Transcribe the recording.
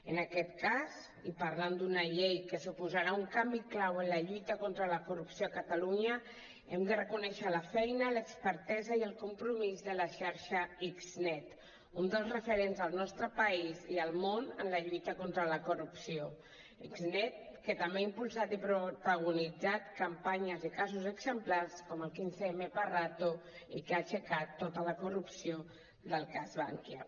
en aquest cas i parlant d’una llei que suposarà un canvi clau en la lluita contra la corrupció a catalunya hem de reconèixer la feina l’expertesa i el compromís de la xarxa xnet un dels referents al nostre país i al món en la lluita contra la corrupció xnet que també ha impulsat i protagonitzat campanyes i casos exemplars com el 15mparato i que ha aixecat tota la corrupció del cas bankia